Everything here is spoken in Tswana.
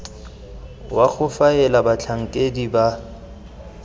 wa go faela batlhankedi ba